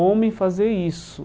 homem fazer isso.